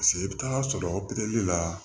Paseke i bɛ taa sɔrɔ la